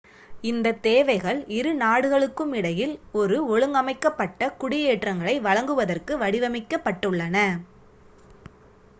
இந்தத் தேவைகள் இரு நாடுகளுக்கும் இடையில் ஒரு ஒழுங்கமைக்கப்பட்ட குடியேற்றங்களை வழங்குவதற்கு வடிவமைக்கப்பட்டுள்ளன